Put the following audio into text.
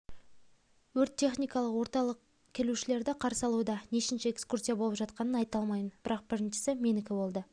өрт-техникалық орталық келушілерді қарсы алуда нешінші экскурсия болып жатқанын айта алмаймын бірақ біріншісі менікі болды